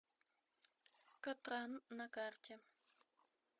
катран на карте